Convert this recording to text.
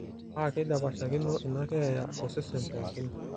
paa keidapashakino ina keeya osesen pookin